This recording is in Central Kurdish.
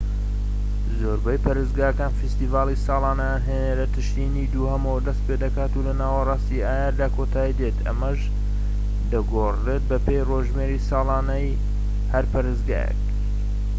زۆربەی پەرستگاکان فیستیڤاڵی ساڵانەیان هەیە کە لە تشرینی دووهەمەوە دەست پێدەکات و لە ناوەراستی ئایاردا کۆتایی دێت ئەمەش دەگۆڕێت بەپێی ڕۆژمێری ساڵانەی هەر پەرستگایەک